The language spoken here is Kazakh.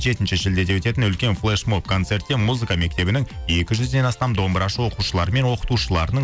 жетінші шілдеде өтетін үлкен флешмоб концертте музыка мектебінің екі жүзден астам домбырашы оқушылары мен оқытушыларының